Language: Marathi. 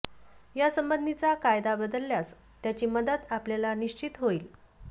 या संबंधीचा कायदा बदलल्यास त्याची मदत आपल्याला निश्चित होईल